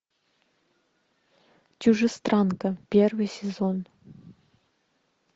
чужестранка первый сезон